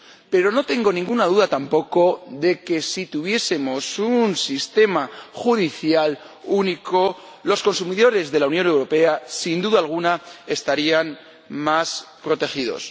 Pero no tengo ninguna duda tampoco de que si tuviésemos un sistema judicial único, los consumidores de la Unión Europea, sin duda alguna, estarían más protegidos.